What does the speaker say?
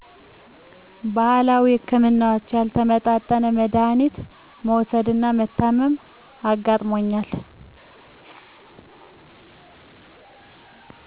ባህላዊ ህክምናዎች ያልተመጣጠነ መዳሀኒት መዉሰድና መታመም አጋጥሞኛል